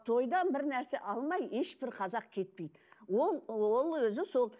тойдан бір нәрсе алмай ешбір қазақ кетпейді ол ол өзі сол